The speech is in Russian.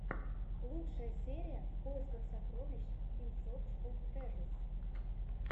лучшая серия в поисках сокровищ ин сорч оф трэжэс